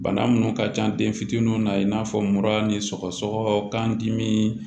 Bana minnu ka ca den fitininw na i n'a fɔ mura ni sɔgɔsɔgɔ kan dimi